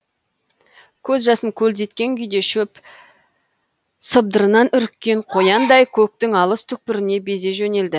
көз жасын көлдеткен күйде шөп сыбдырынан үріккен қояндай көктің алыс түкпіріне безе жөнелді